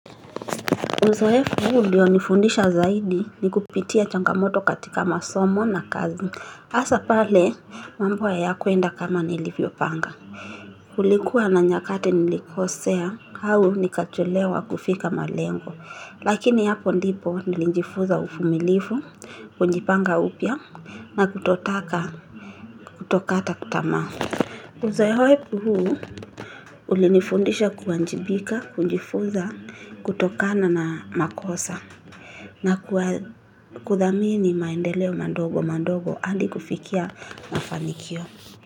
Uzoefu huu ulionifundisha zaidi ni kupitia changamoto katika masomo na kazi. Hasa pale, mambo hayakuenda kama nilivyopanga. Ulikuwa na nyakati nilikosea, au nikachelewa kufika malengo. Lakini hapo ndipo nilijifuza uvumilivu, kujipanga upya na kutotaka kutokata tamaa. Uzoefu huu ulinifundisha kuwajibika, kujifuza, kutokana na makosa. Na kuthamini maendeleo madogo madogo hadi kufikia mafanikio.